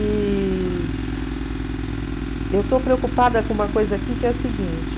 E eu estou preocupada com uma coisa aqui que é a seguinte.